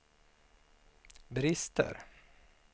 brister